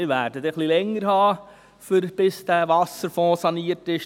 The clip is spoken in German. Wir werden etwas länger brauchen, bis der Wasserfonds saniert sein wird.